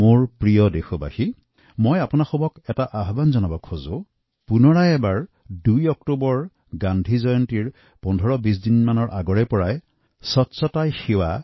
মোৰ প্ৰিয় দেশবাসী মই আপোনালোকক উদ্দেশ্যি আহ্বান জনাও যে আহক এবাৰ আকৌ ২ অক্টোবৰত গান্ধী জয়ন্তীৰ ১৫২০ দিন আগৰে পৰাই স্বচ্ছতাই সেৱাৰ প্ৰচাৰ আৰম্ভ কৰোঁ